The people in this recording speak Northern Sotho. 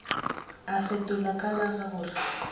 a fetola ka la gore